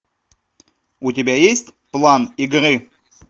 у тебя есть план игры